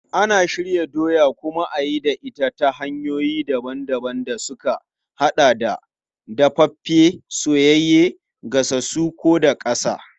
Ana shirya doya a kuma yi da ita ta hanyoyi daban-daban da suka haɗa da dafaffe, soyayye, gasassu ko daƙasa.